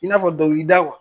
I n'a fɔ dɔnkili da